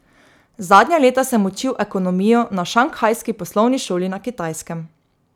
Zadnja leta sem učil ekonomijo na šanghajski poslovni šoli na Kitajskem.